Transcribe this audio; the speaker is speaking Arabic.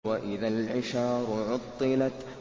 وَإِذَا الْعِشَارُ عُطِّلَتْ